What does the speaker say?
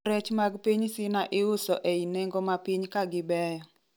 rech mag piny Cina iuso ei nengo mapiny ka gibeyo